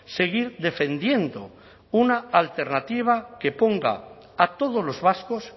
seguir defendiendo una alternativa que ponga a todos los vascos